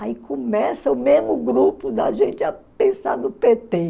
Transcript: Aí começa o mesmo grupo da gente a pensar no pê tê